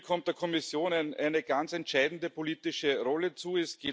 Hier kommt der Kommission eine ganz entscheidende politische Rolle zu.